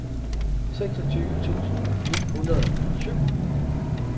seksogtyve tusind ni hundrede og syv